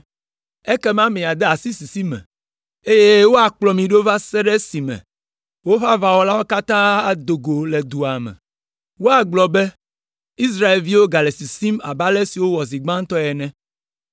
Ekema míade asi sisi me, eye woakplɔ mí ɖo va se ɖe esi woƒe aʋawɔlawo katã ado go le dua me. Woagblɔ be, ‘Israelviwo gale sisim abe ale si wowɔ zi gbãtɔ ene!’